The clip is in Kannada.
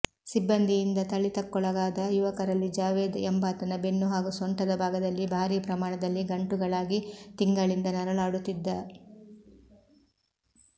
ಸಿಬ್ಬಂದಿಯಿಂದ ಥಳಿತ ಕ್ಕೊಳಗಾದ ಯುವಕರಲ್ಲಿ ಜಾವೆದ್ ಎಂಬಾತನ ಬೆನ್ನು ಹಾಗೂ ಸೊಂಟದ ಭಾಗದಲ್ಲಿ ಭಾರೀ ಪ್ರಮಾಣದಲ್ಲಿ ಗಂಟುಗಳಾಗಿ ತಿಂಗಳಿಂದ ನರಳಾಡುತ್ತಿದ್ದ